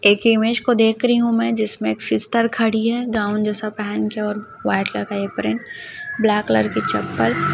एक इमेज को देख रही हूं मैं जिसमें एक सिस्टर खड़ी है गाउन जैसा पहन के व्हाइट कलर का एप्रन ब्लैक कलर की चप्पल --